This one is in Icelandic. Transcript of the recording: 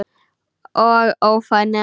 Og ófær nema.